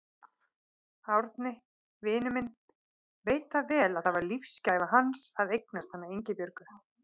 Árni, vinur minn, veit það vel að það var lífsgæfa hans að eignast hana Ingibjörgu.